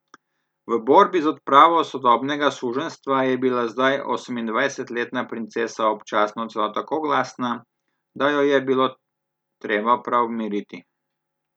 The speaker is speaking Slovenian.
V borbi za odpravo sodobnega suženjstva je bila zdaj osemindvajsetletna princesa občasno celo tako glasna, da jo je bilo treba prav miriti.